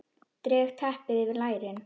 Dreg teppið yfir lærin.